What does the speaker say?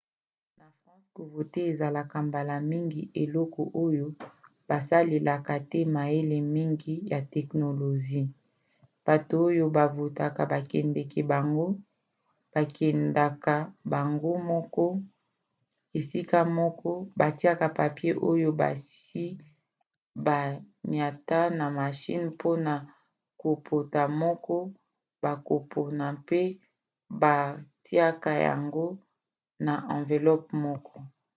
na france kovote ezalaka mbala mingi eloko oyo basalelaka te mayele mngi ya teknolozi: bato oyo bavotaka bakendaka bango moko na esika moko batiaka papie oyo basi baniata na mashine mpona kopona moto bakopona mpe batiaka yango na amvelope moko